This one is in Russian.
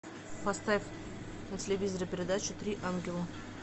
поставь на телевизоре передачу три ангела